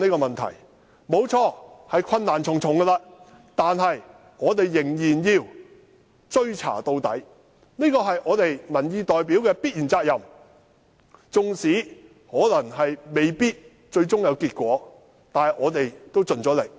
雖然面對困難重重，但我們仍要追查到底，這是我們作為民意代表必須肩負的責任，縱使最終未必會成功，但我們也盡了力。